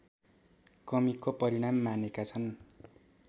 कमीको परिणाम मानेका छन्